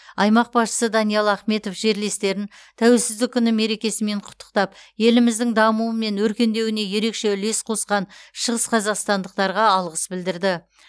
аймақ басшысы даниал ахметов жерлестерін тәуелсіздік күні мерекесімен құттықтап еліміздің дамуы мен өркендеуіне ерекше үлес қосқан шығысқазақстандықтарға алғыс білдірді